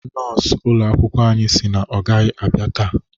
Nọọsụ ụlọ akwụkwọ anyị sị na ọ gaghị abịa taa